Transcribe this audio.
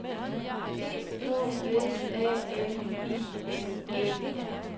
E K S A M I N E R